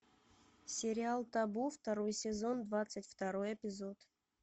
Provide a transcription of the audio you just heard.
сериал табу второй сезон двадцать второй эпизод